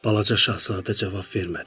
Balaca Şahzadə cavab vermədi.